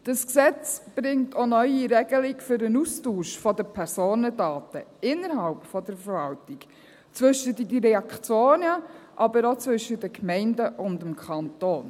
Dieses Gesetz bringt auch eine neue Regelung für den Austausch der Personendaten innerhalb der Verwaltung zwischen den Direktionen, aber auch zwischen den Gemeinden und dem Kanton.